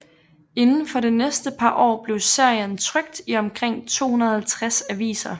Inden for det næste par år blev serien trykt i omkring 250 aviser